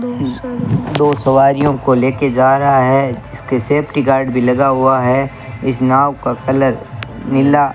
दो सवारियों को लेके जा रहा है जिसके सेफ्टी गार्ड भी लगा हुआ है इस नाव का कलर नीला --